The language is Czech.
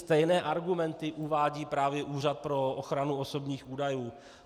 Stejné argumenty uvádí právě Úřad pro ochranu osobních údajů.